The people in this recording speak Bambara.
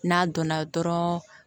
N'a donna dɔrɔn